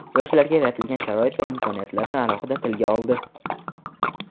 yoshlarga yaratilayotgan sharoit va imkoniyatlarni alohida tilga oldi.